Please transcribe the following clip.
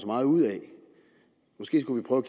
meget ud af måske skulle vi prøve